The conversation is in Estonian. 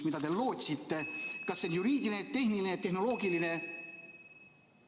Mida te lootsite: kas juriidilist, tehnilist, tehnoloogilist?